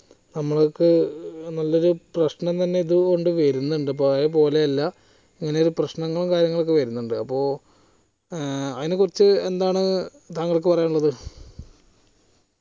നമുക്ക് നല്ലൊരു പ്രശ്നം തന്നെ ഇതുകൊണ്ട് വരുന്നുണ്ട് പഴയ പോലെയല്ല ഇങ്ങനെ പ്രശ്നങ്ങളും കാര്യങ്ങളൊക്കെ വരുന്നുണ്ട് അപ്പൊ ഏർ അതിനെ കുറിച് എന്താണ് തങ്ങൾക്ക് പറയാനുള്ളത്